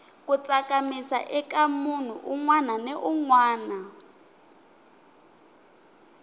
ku tsakamisa ika munhu unwana ni unwana